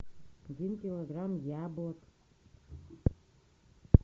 один килограмм яблок